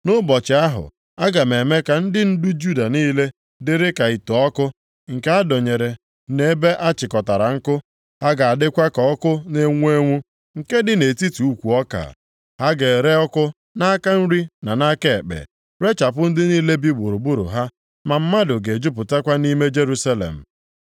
“Nʼụbọchị ahụ, aga m eme ka ndị ndu Juda niile dịrị ka ite ọkụ, nke a dọnyere nʼebe a chịkọtara nkụ. Ha ga-adịkwa ka ọkụ na-enwu enwu, nke dị nʼetiti ukwu ọka. Ha ga-ere ọkụ nʼaka nri na nʼaka ekpe, rechapụ ndị niile bi gburugburu ha. Ma mmadụ ga-ejupụtakwa nʼime Jerusalem.